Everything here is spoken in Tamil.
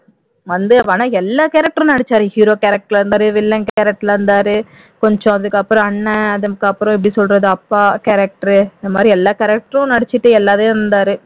வந்து ஆனா எல்லா character ம் நடிச்சாரு hero character ல் இருந்தாரு villain character ல் இருந்தாரு கொஞ்சம் அதுக்கு அப்புறம் அண்ணன் அதுக்கப்புறம் எப்படி சொல்றது அப்பா character இது மாதிரி எல்லா character ம் நடிச்சிட்டு எல்லாமே இருந்தாரு